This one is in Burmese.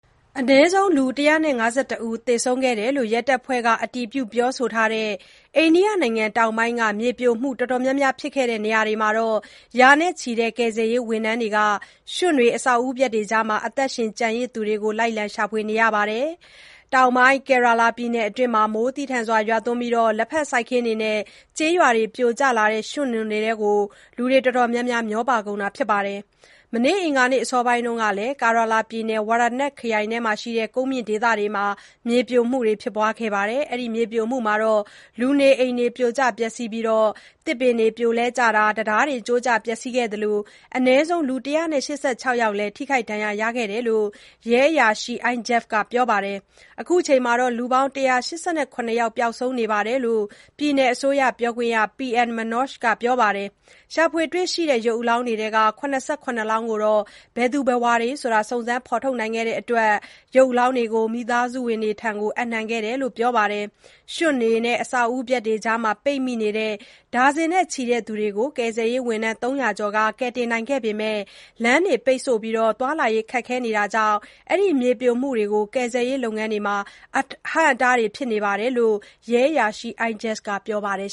အနည်းဆုံး လူ ၁၅၁ ဦး သေဆုံးခဲ့တယ်လို့ ရဲတပ်ဖွဲ့က အတည်ပြုပြောဆိုထားတဲ့ အိန္ဒိယနိုင်ငံတောင်ပိုင်းက မြေပြိုမှုတွေ အတော်များများ ဖြစ်ခဲ့တဲ့နေရာတွေမှာ ရာနဲ့ချီတဲ့ ကယ်ဆယ်ရေးဝန်ထမ်းတွေက ရွံ့တွေ၊ အဆောက်အဦပျက်တွေကြားမှာ အသက်ရှင်ကျန်ရစ်သူတွေကို လိုက်လံ ရှာဖွေနေကြပါတယ်။ တောင်ပိုင်း Kerala ပြည်နယ်အတွင်း မိုးသည်းထန်စွာ ရွာသွန်းပြီး လက်ဖက်စိုက်ခင်းတွေနဲ့ ကျေးရွာနေအိမ်တွေ ပြိုကျလာတဲ့ ရွံ့နွံတွေထဲ မျှောပါကုန်ပါတယ်။ မနေ့ အင်္ဂါနေ့ အစောပိုင်းတုန်းကလည်း Kerala ပြည်နယ်၊ Wayanad ခရိုင်အတွင်းက ကုန်းမြင့်ဒေသတွေမှာ မြေပြိုမှုတွေ ဖြစ်ခဲ့တာမှာ လူနေအိမ်တွေ ပြိုကျ ပျက်ဆီးပြီး သစ်ပင်တွေ ပြိုလှဲကျတာ၊ တံတားတွေ ကျိုးကျ ပျက်ဆီးခဲ့သလို အနည်းဆုံး လူ ၁၈၆ ယောက်လည် ထိခိုက် ဒဏ်ရာရခဲ့တယ်လို့ ရဲအရာရှိ Aijaz က ပြောပါတယ်။ အခုချိန်မှာ လူ ၁၈၇ ယောက် ပျောက်ဆုံးနေကြောင်း ပြည်နယ်အစိုးရပြောခွင့်ရ P.M Manoj က ပြောပါတယ်။ ရှာဖွေ တွေ့ရှိတဲ့ ရုပ်အလောင်းတွေထဲက ၇၇ လောင်းကိုတော့ ဘယ်သူ ဘယ်ဝါဆိုတာ စုံစမ်း ဖော်ထုတ်နိုင်ခဲ့တဲ့အတွက် မိသားစုဝင်တွေထံ အပ်နှံခဲ့တယ်လို့ ဆိုပါတယ်။ ရွံတွေ၊ အဆောက်အဦပျက်တွေအောက်မှာ ပိမိနေတဲ့ ဒါဇင်နဲ့ချီတဲ့သူတွေကို ကယ်ဆယ်ရေးဝန်ထမ်း ၃၀၀ ကျော်က ကယ်တင်နိုင်ခဲ့ပေမယ့် လမ်းတွေ ပိတ်ဆို့ပြီး သွားလာရေးခက်ခဲမှုတွေကြောင့် ကယ်ဆယ်ရေးလုပ်ငန်းတွေကို အဟန့်အတားဖြစ်နေတယ်လို့ Aijaz က ပြောပါတယ်